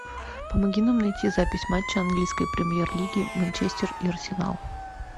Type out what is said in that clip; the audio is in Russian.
помоги нам найти запись матча английской премьер лиги манчестер и арсенал